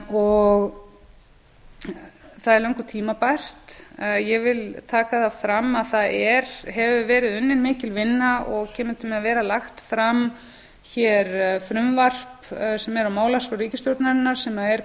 það er löngu tímabært ég vil taka það fram að það hefur verið unnin mikil vinna og kemur til með að vera lagt fram hér frumvarp sem er á málaskrá ríkisstjórnarinnar sem er